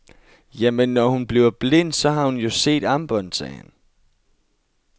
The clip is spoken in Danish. Jamen, når hun bliver blind, så har hun jo set armbåndet, sagde han.